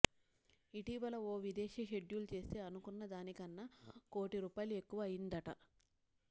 ఇటీవల ఓ విదేశీ షెడ్యూలు చేస్తే అనుకున్నదాని కన్నా కోటి రూపాయలు ఎక్కువ అయిందట